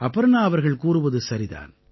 அபர்ணா அவர்கள் கூறுவது சரிதான்